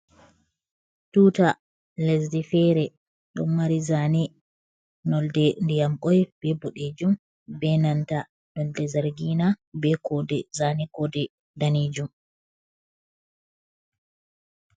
Tuta lesdi fere, ɗon mari zane nonnde ndiyam boi be bodejum be nanta nonnde zargina be kode, zane kode daneejum.